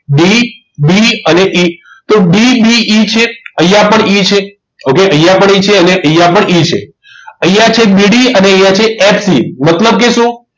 DB અને E તો DBE છે અહીંયા પણ E છે okay અહીંયા પણ e છે અહીંયા પણ E છે અહીંયા છે DB ને અને અહીંયા છે FE મતલબ કે શું